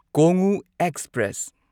Kongu express